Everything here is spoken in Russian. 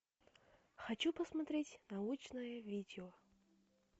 хочу посмотреть научное видео